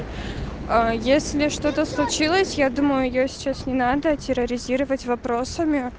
если что-то случилось я думаю её сейчас не надо терроризировать вопросами